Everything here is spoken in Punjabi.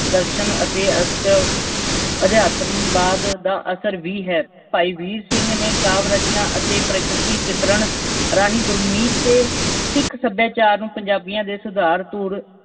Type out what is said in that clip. ਦਰਸ਼ਨ ਅਤੇ ਰਹੱਸ ਅਧਿਆਤਮਵਾਦ ਦਾ ਅਸਰ ਵੀ ਹੈ। ਭਾਈ ਵੀਰ ਸਿੰਘ ਨੇ ਕਾਵਿ-ਰਚਨਾ ਅਤੇ ਪ੍ਰਕਿਰਤੀ ਚਿਤਰਨ ਰਾਹੀਂ ਗੁਰਮਤਿ ਤੇ ਸਿੱਖ ਸਭਿਆਚਾਰ ਨੂੰ ਪੰਜਾਬੀਆਂ ਦੇ ਸੁਧਾਰ